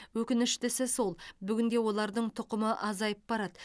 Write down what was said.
өкініштісі сол бүгінде олардың тұқымы азайып барады